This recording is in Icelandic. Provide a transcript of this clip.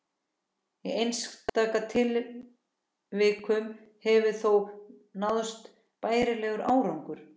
Í einstaka tilvikum hefur þó náðst bærilegur árangur.